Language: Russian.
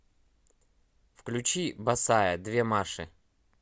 включи босая две маши